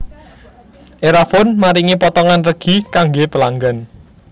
Erafone maringi potongan regi kangge pelanggan